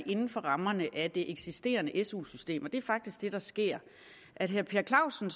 inden for rammerne af det eksisterende su system og det er faktisk det der sker at herre per clausen